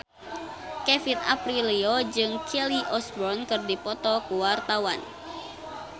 Kevin Aprilio jeung Kelly Osbourne keur dipoto ku wartawan